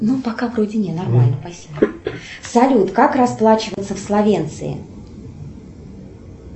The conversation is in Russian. салют как расплачиваться в словенции